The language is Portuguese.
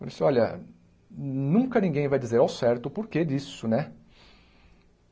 Eu disse, olha, nunca ninguém vai dizer ao certo o porquê disso, né?